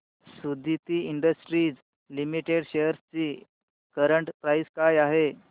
Suditi Industries Limited shares ची current price काय आहे